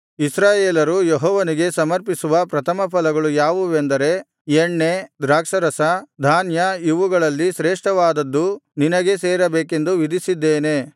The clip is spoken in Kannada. ಇಸ್ರಾಯೇಲರು ಯೆಹೋವನಿಗೆ ಸಮರ್ಪಿಸುವ ಪ್ರಥಮಫಲಗಳು ಯಾವುವೆಂದರೆ ಎಣ್ಣೆ ದ್ರಾಕ್ಷಾರಸ ಧಾನ್ಯ ಇವುಗಳಲ್ಲಿ ಶ್ರೇಷ್ಠವಾದದ್ದು ನಿನಗೇ ಸೇರಬೇಕೆಂದು ವಿಧಿಸಿದ್ದೇನೆ